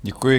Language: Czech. Děkuji.